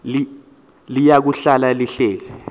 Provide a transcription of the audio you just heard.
liya kuhlala lihleli